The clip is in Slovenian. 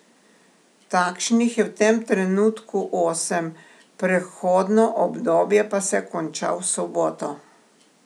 Takšnih je v tem trenutku osem, prehodno obdobje pa se konča v soboto.